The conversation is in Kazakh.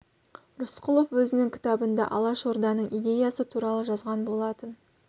рысқұлов өзінің кітабында алашорданың идеясы туралы жазған болатын